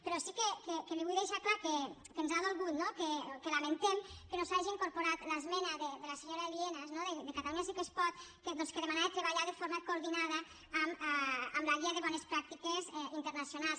però sí que li vull deixar clar que ens ha dolgut no que lamentem que no s’hagi incorporat l’esmena de la senyora lienas de catalunya sí que es pot doncs que demanava treballar de forma coordinada amb la guia de bones pràctiques internacionals